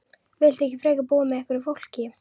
Viltu ekki frekar búa með einhverju fólki?